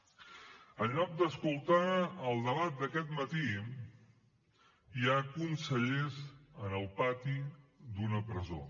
en lloc d’escoltar el debat d’aquest matí hi ha consellers en el pati d’una presó